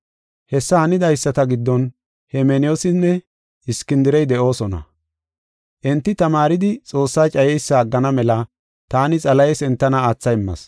Hessa hanidaysata giddon Hemeneyoosinne Iskindirey de7oosona. Enti tamaaridi Xoossaa cayeysa aggana mela taani Xalahes entana aatha immas.